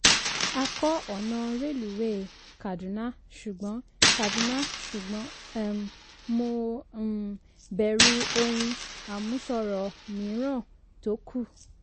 a kọ́ ọ̀nà rélùwéè kaduna ṣùgbọ́n kaduna ṣùgbọ́n um mo um bẹ̀rù ohun àmúṣọrọ̀ míìran tó kú. um